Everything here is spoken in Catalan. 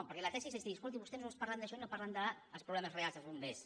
perquè la tesi és dir escolti vostès només parlen d’això i no parlen dels problemes reals dels bombers